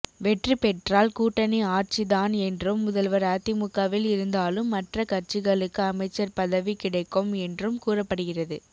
வெற்றி பெற்றால் கூட்டணி ஆட்சிதான் என்றும் முதல்வர் அதிமுகவில் இருந்தாலும் மற்ற கட்சிகளுக்கு அமைச்சர் பதவி கிடைக்கும் என்றும் கூறப்படுகிறது